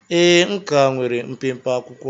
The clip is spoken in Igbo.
Ee, m ka nwere mpempe akwụkwọ